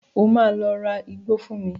O máa lọ ra igbó fún mi.